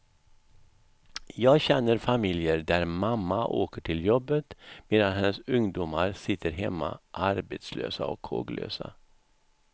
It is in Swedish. Jag känner familjer där mamma åker till jobbet medan hennes ungdomar sitter hemma, arbetslösa och håglösa.